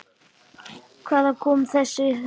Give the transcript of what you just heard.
Hvaðan koma þessi hljóð?